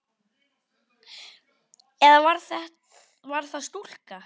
Eða var það ekki stúlka?